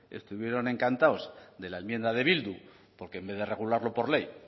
estuvieron encantados de la enmienda de bildu porque en vez de regularlo por ley